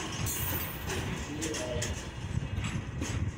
включи ай